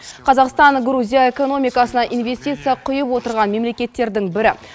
қазақстан грузия экономикасына инвестиция құйып отырған мемлекеттердің бірі